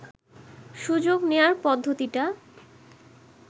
সুযোগ নেয়ার পদ্ধতিটা